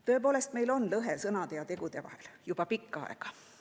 Tõepoolest, meil on lõhe sõnade ja tegude vahel juba pikka aega.